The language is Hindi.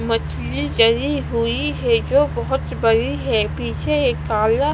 मछली डली हुई हैं जो बहोत बड़ी है पीछे एक काला--